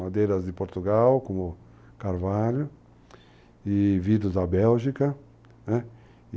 Madeiras de Portugal, como Carvalho, e vidros da Bélgica.